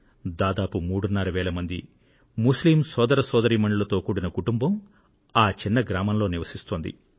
దాదాపు మూడున్నర వేల మంది ముస్లిం సోదర సోదరీమణులతో కూడిన కుటుంబం ఆ చిన్న గ్రామంలో నివసిస్తోంది